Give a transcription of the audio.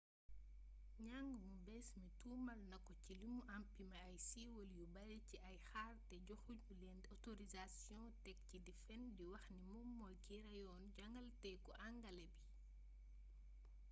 njang mu bees mi tuumal nako ci limu empimé ay siiwal yu bari ci ay kaar te joxu ñu leen otorisasiyoŋ tek ci di fen di wax ni moom mooy ki reyoon jangalekatu angale bi